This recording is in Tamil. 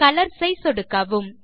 கலர்ஸ் ஐ சொடுக்கவும்